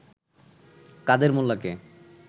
কাদের মোল্লাকে